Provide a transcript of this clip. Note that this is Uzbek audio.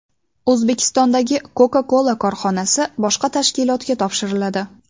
O‘zbekistondagi Coca-Cola korxonasi boshqa tashkilotga topshiriladi.